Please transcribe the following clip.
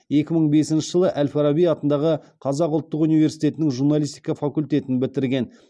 екі мың бесінші жылы әл фараби атындағы қазақ ұлттық университетінің журналистика факультетін бітірген